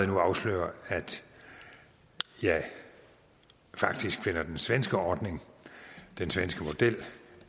nu afsløre at jeg faktisk finder den svenske ordning den svenske model